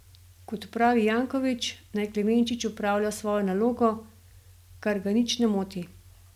Kot pravi Janković, naj Klemenčič opravlja svojo nalogo, kar ga nič ne moti.